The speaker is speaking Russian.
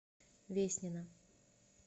веснина